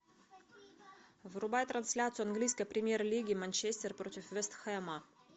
врубай трансляцию английской премьер лиги манчестер против вест хэма